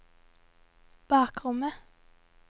bakrommet